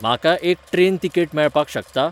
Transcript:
म्हाका एक train ticket मेळपाक शकता ?